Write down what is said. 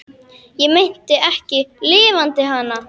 Ég meinti ekki LIFANDI HANA.